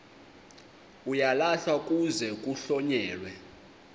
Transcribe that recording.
uyalahlwa kuze kuhlonyelwe